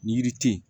Ni yiri tɛ yen